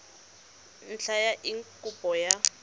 ntlha ya eng kopo ya